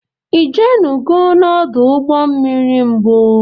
I jenugo n'odu ụgbọ mmiri n'mbu?